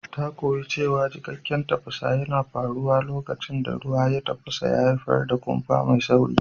Ta koyi cewa cikakken tafasa yana faruwa lokacin da ruwan tafasa ya haifar da kumfa mai sauri.